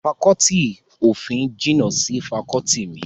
Fakọọti ti òfin jìnnà sí fakọọti mi